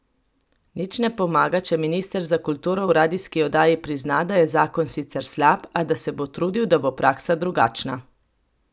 Nič ne pomaga, če minister za kulturo v radijski oddaji prizna, da je zakon sicer slab, a da se bo trudil, da bo praksa drugačna.